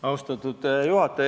Austatud juhataja!